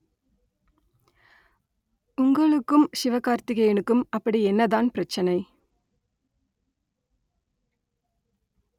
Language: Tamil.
உங்களுக்கும் சிவ கார்த்திகேயனுக்கும் அப்படி என்னதான் பிரச்சனை